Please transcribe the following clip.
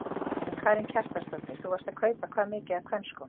Karen Kjartansdóttir: Þú varst að kaupa hvað mikið af kvenskóm?